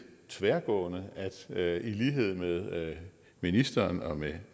tværgående at i lighed med ministeren og med